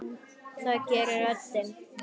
Það gerir röddin.